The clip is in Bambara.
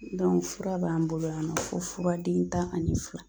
fura b'an bolo yan nɔ fo fura den tan ani fila.